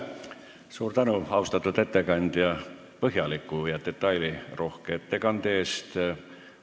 Suur tänu, austatud ettekandja, põhjaliku ja detailirohke ettekande eest!